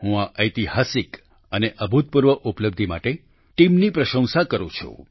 હું આ ઐતિહાસિક અને અભૂતપૂર્વ ઉપલબ્ધિ માટે ટીમની પ્રશંસા કરું છું